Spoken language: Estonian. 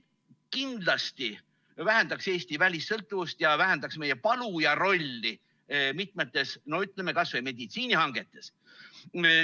Kindlasti vähendaks see Eesti välissõltuvust ja vähendaks meie palujarolli kas või mitmetes meditsiinihangetes.